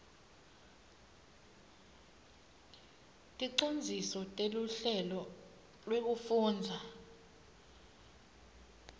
ticondziso teluhlelo lwekufundza